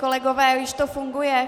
Kolegové, už to funguje?